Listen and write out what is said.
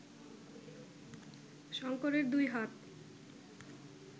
শঙ্করের দুই হাত